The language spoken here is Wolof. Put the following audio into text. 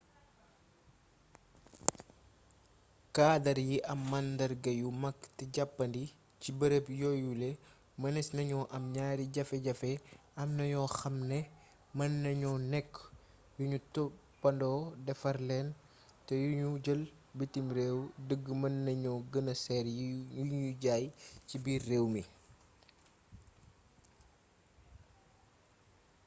kaadar yi am màndarga yu mag te jàppandi ci bërëb yooyule mënes nañoo am ñaari jafe jafe am na yoo xam ne mën nañoo nekk yu nu toppandoo defar leen te yu nu jëlee bitim réew dëgg mën nañoo gëna seer yi nuy jaaye ci biir réew mi